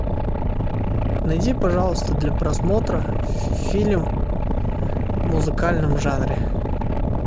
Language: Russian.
найди пожалуйста для просмотра фильм в музыкальном жанре